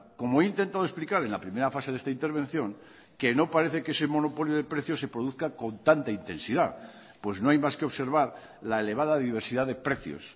como he intentado explicar en la primera fase de esta intervención que no parece que ese monopolio de precios se produzca con tanta intensidad pues no hay más que observar la elevada diversidad de precios